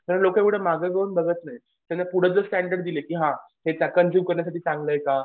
तर लोकं एवढं मागं घेऊन बघत नाहीत. त्याच्या पुढं जर स्टॅंडर्ड दिले की हां हे कंझ्युम करण्यासाठी चांगलं आहे का?